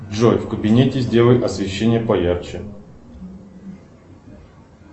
джой в кабинете сделай освещение поярче